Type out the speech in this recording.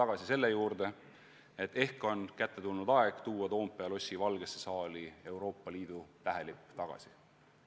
Kas tõesti on ehk kätte tulnud aeg tuua Toompea lossi Valgesse saali tagasi Euroopa Liidu tähelipp?